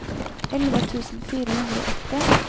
elleve tusen fire hundre og åtti